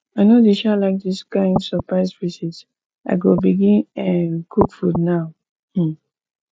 i no dey um like dis kain surprise visit i go begin um cook food now um